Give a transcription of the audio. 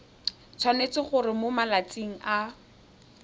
tshwanetse gore mo malatsing a